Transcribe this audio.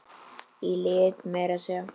Í lit meira að segja!